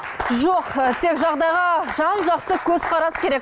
жоқ ы тек жағдайға жан жақты көзқарас керек